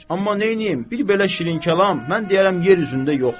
Amma neyləyim, bir belə şirinkəlam mən deyərəm yer üzündə yoxdur.